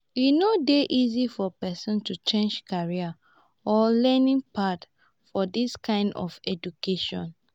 E no dey easy for pesin to change career or learning pad for dis kind of education